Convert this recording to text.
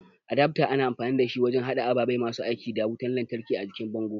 adafto ana amfani dashi wajen hada ababe masu aiki da wutan lantraki a jikin bango